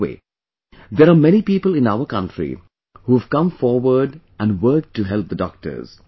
By the way, there are many people in our country who have come forward and worked to help the doctors